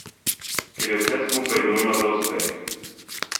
Ker je vse skupaj nujno za uspeh.